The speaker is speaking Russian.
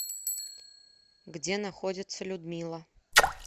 где находится людмила